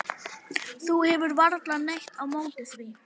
Þú hefur varla neitt á móti því?